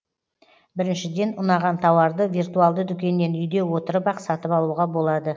біріншіден ұнаған тауарды виртуалды дүкеннен үйде отырып ақ сатып алуға болады